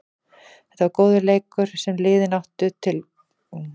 Þetta var leikur sem liðin áttu til góða og því var hann spilaður núna.